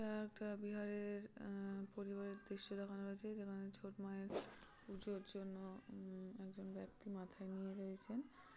এটা একটা বিহারের উম পরিবারের দৃশ্য দেখানো হয়েছে। যেখানে ছট মায়ের পুজোর জন্য উন একজন ব্যক্তি মাথায় নিয়ে রয়েছেন।